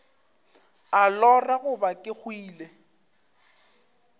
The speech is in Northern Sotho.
a lora goba ke hwile